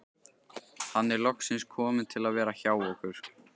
Hann er loksins kominn til að vera hjá okkur.